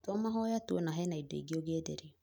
to mahoya tu ona hena indo ingĩ ũngĩenderio